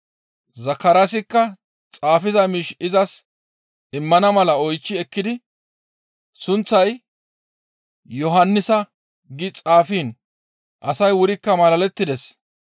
Zakaraasikka xaafiza miish izas immana mala oychchi ekkidi sunththay, «Yohannisa» gi xaafiin asay wurikka malalettides.